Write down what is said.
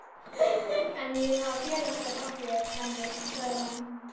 En ég vil hafa félagsskap af þér, Hemmi, svarar hún.